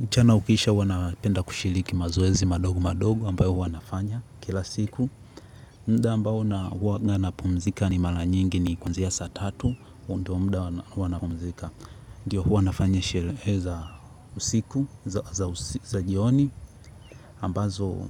Mchana ukiisha, huwa napenda kushiriki mazoezi madogo madogo ambayo huwa nafanya kila siku muda ambao huwa napumzika mara nyingi ni kuanzia saa tatu. Huo ndio muda huwa napumzika. Ndiyo, huwa nafanya sherehe za jioni, ambazo